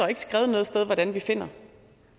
ikke skrevet noget sted hvordan vi finder